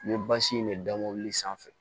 N bɛ in de da mobili sanfɛ